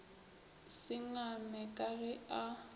se ngame ka ge a